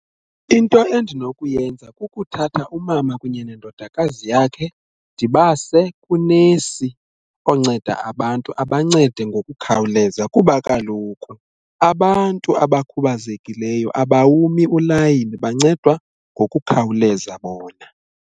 Into endinokuyenza kukuthatha umama kunye nendodakazi yakhe ndibase kunesi onceda abantu abancede ngokukhawuleza kuba kaloku abantu abakhubazekileyo abawumi ulayini bancedwa ngokukhawuleza bona.